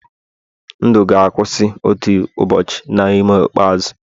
ndụ ga-akwụsị otu ụbọchị na ume ikpeazụ.